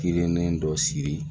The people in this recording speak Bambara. Kilennen dɔ sigi